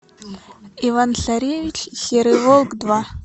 иван царевич и серый волк два